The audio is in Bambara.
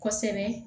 Kosɛbɛ